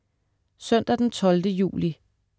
Søndag den 12. juli